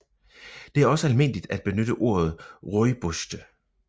Det er også almindeligt at benytte ordet rooiboste